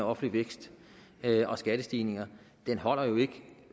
offentlig vækst og skattestigninger holder jo ikke